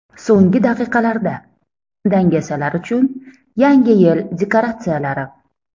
So‘nggi daqiqalarda: dangasalar uchun Yangi yil dekoratsiyalari .